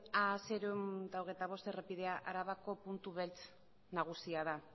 aminus seiehun eta hogeita bost errepidea arabako puntu beltz nagusia da